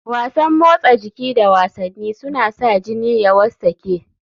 Wasan motsa jiki da wasanni suna sa jini ya wartsake.